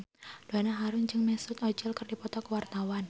Donna Harun jeung Mesut Ozil keur dipoto ku wartawan